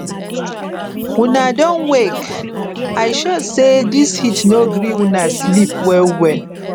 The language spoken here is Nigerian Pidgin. una don wake isure say this heat nongree una sleep well well